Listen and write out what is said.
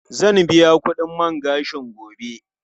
Zan biya kudin man gashin gobe.